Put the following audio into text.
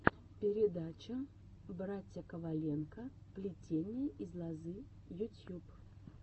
передача братья коваленко плетение из лозы ютьюб